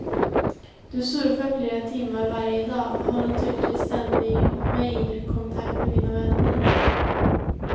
Du surfar flera timmar varje dag, har naturligtvis ständig mejlkontakt med dina vänner.